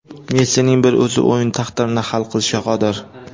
Messining bir o‘zi o‘yin taqdirini hal qilishga qodir.